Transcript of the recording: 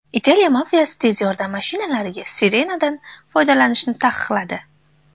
Italiya mafiyasi tez yordam mashinalariga sirenadan foydalanishni taqiqladi.